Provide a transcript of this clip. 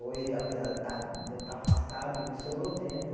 Hoje, apesar ah de eu estar afastado, me sobrou tempo.